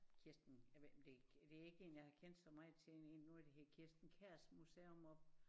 Kirsten jeg ved ikke om det det ikke en jeg har kendt så meget til det var noget der hed Kirsten Kjærs Museum oppe